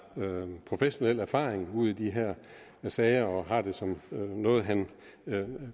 professionel erfaring ud i de her sager og har det som noget han